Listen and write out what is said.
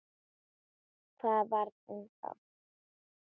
Hvað varð um þá?